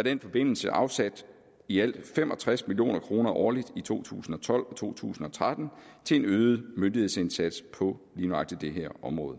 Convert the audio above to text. i den forbindelse afsat i alt fem og tres million kroner årligt i to tusind og tolv og to tusind og tretten til en øget myndighedsindsats på lige nøjagtig det her område